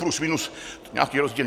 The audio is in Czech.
Plus minus nějaký rozdíl.